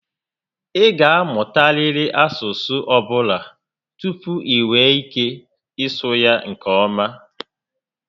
Ị ga amụtariri olu asụsụ ọbụla tupu i nwee ike ịsụ ya nke ọma